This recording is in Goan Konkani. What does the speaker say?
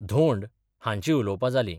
धोंड हांची उलोवपां जाली.